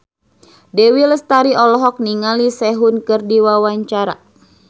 Dewi Lestari olohok ningali Sehun keur diwawancara